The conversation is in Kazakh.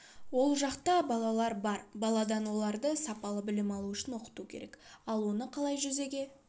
ол жақта балалар бар баладан оларды сапалы білім алуы үшін оқыту керек ал оны қалай жүзеге